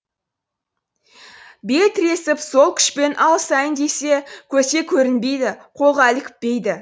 бел тіресіп сол күшпен алысайын десе көзге көрінбейді қолға ілікпейді